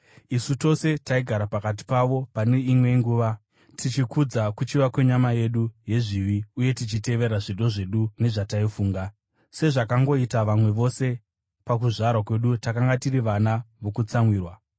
Isu tose taigara pakati pavo pane imwe nguva, tichikudza kuchiva kwenyama yedu yezvivi uye tichitevera zvido zvedu nezvataifunga. Sezvakangoita vamwe vose, pakuzvarwa kwedu takanga tiri vana vokutsamwirwa.